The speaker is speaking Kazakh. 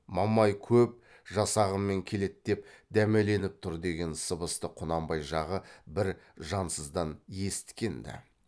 мамай көп жасағымен келеді деп дәмеленіп тұр деген сыбысты құнанбай жағы бір жансыздан есіткен ді